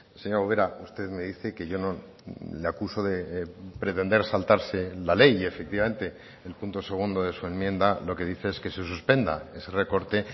señora ubera usted me dice que yo no le acuso de pretender saltarse la ley y efectivamente el punto segundo de su enmienda lo que dice es que se suspenda ese recorte